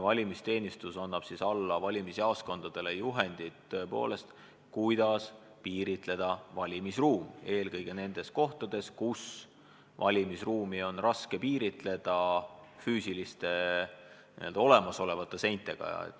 Valimisteenistus annab valimisjaoskondadele juhendid, kuidas valimisruum piirata, eelkõige nendes kohtades, kus valimisruumi on raske piirata füüsiliste, n-ö olemasolevate seintega.